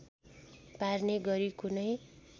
पार्ने गरी कुनै